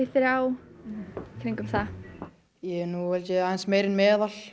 þrjá í kringum það ég er held ég aðeins meira en meðal